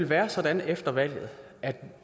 være sådan efter valget at